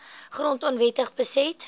grond onwettig beset